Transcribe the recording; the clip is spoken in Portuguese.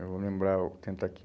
Eu vou lembrar, vou tentar aqui.